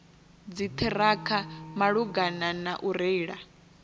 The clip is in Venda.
dziṱhirakha malugana na u reila